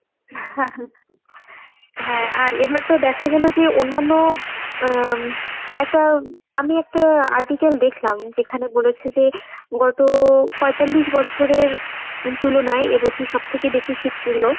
হ্যাঁ আর এবারতো দেখা গেলো যে অন্যান্য উম একটা আমি একটা article দেখলাম যেখানে বলেছে যে গত পয়তাল্লিশ বছরের তুলনায় এবছর সবথেকে বেশি শীত পড়লো।